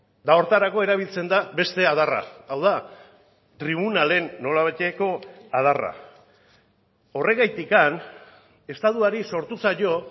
eta horretarako erabiltzen da beste adarra hau da tribunalen nolabaiteko adarra horregatik estatuari sortu zaio